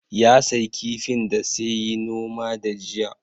Ya sayi kifin da sai yi noma da jiya